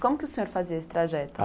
Como que o senhor fazia esse trajeto?